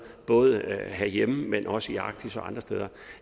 både herhjemme men også arktis og andre steder